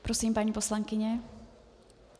Prosím, paní poslankyně.